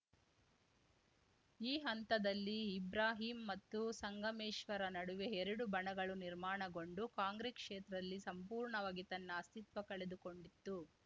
ಈ ಹಂತದಲ್ಲಿ ಇಬ್ರಾಹಿಂ ಮತ್ತು ಸಂಗಮೇಶ್ವರ ನಡುವೆ ಎರಡು ಬಣಗಳು ನಿರ್ಮಾಣಗೊಂಡು ಕಾಂಗ್ರೆಸ್‌ ಕ್ಷೇತ್ರದಲ್ಲಿ ಸಂಪೂರ್ಣವಾಗಿ ತನ್ನ ಅಸ್ತಿತ್ವ ಕಳೆದುಕೊಂಡಿತ್ತು